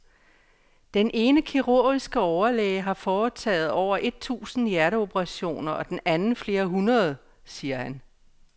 Den ene kirurgiske overlæge har foretaget over et tusind hjerteoperationer og den anden flere hundrede, siger han.